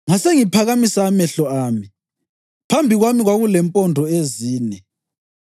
Ngase ngiphakamisa amehlo ami, phambi kwami kwakulempondo ezine!